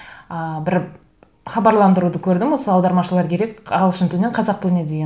ыыы бір хабарландыруды көрдім осы аудармашылар керек ағылшын тілінен қазақ тіліне деген